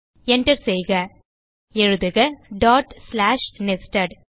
Enter செய்க எழுதுக dot slash nested